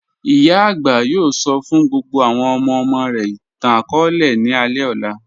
Iyà agbà yóò sọ́ fún gbogbo àwọn ọmọ-ọmọ rẹ̀ ìtàn-akọọlẹ̀ ní alẹ ọlá.